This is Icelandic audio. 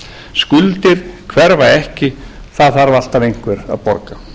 skuldir hverfa ekki það þarf alltaf einhver að borga